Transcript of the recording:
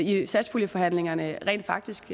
i satspuljeforhandlingerne rent faktisk